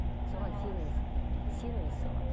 соған сеніңіз сеніңіз соған